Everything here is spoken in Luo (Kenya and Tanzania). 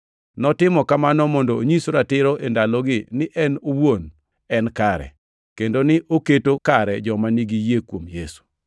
Notimo kamano mondo onyis ratiro e ndalogi ni en owuon en kare, kendo ni oketo kare joma nigi yie kuom Yesu.